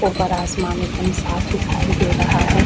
ऊपर आसमान एकदम साफ दिखाई दे रहा है।